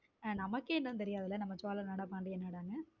அது நமக்கே இன்னும் தெரியாதுல நம்ம சோழ நாடா பாண்டிய நாடானு.